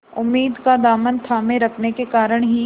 उम्मीद का दामन थामे रखने के कारण ही